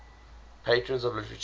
patrons of literature